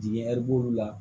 Dingɛ b'olu la